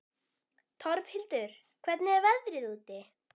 Torfhildur, hvernig er veðrið úti?